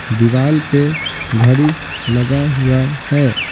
दीवाल पे घड़ी लगा हुआ है।